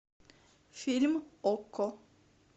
фильм окко